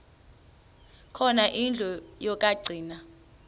khona indlu yokagcina